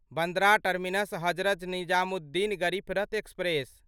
Bandra terminus Hazrat Nizamuddin Garib Rath express